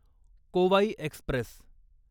कोवाई Express